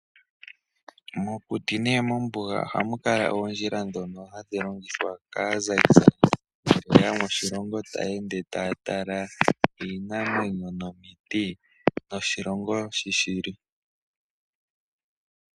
Mokuti nenge mombuga ohamu kala oondjila ndhono hadhi longithwa kaazayizayi , tayeya moshilongo taya ende taya tala iinamwenyo nomiti noshilongo sho shili.